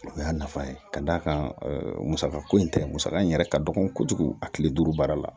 O y'a nafa ye ka d'a kan musaka ko in tɛ musaka in yɛrɛ ka dɔgɔn kojugu a kile duuru baara la